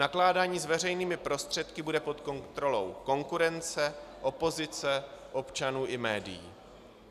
Nakládání s veřejnými prostředky bude pod kontrolou konkurence, opozice, občanů i médií.